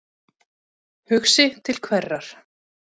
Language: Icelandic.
Hugsi til hverrar?